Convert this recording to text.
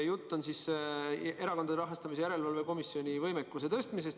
Jutt on siis Erakondade Rahastamise Järelevalve Komisjoni võimekuse tõstmisest.